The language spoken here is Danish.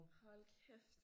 Hold kæft